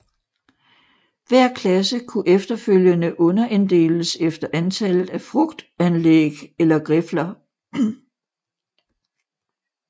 Hver klasse kunne efterfølgende underinddeles efter antallet af frugtanlæg eller grifler